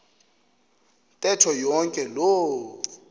ntetho yonke loo